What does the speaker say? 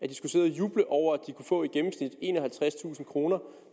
juble over at de kunne få i gennemsnit enoghalvtredstusind kroner